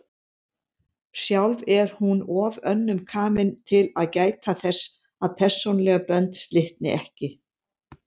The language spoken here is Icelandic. Sjálf er hún of önnum kafin til að gæta þess að persónuleg bönd slitni ekki.